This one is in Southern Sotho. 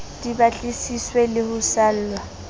di batlisiswe le ho salwa